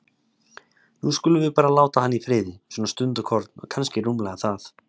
Nú skulum við bara láta hann í friði, svona stundarkorn, og kannski rúmlega það.